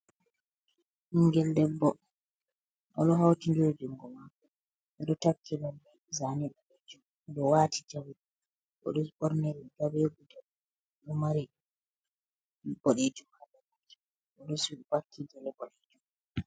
Bingel debbo, odo hauti nɗiri jungo mako, odo takki lalle zane boɗejum, odo wati jawe odo ɓorni riga ɓe guɗel ɗo mari boɗejum oɗo wati suddaki gele boɗejum.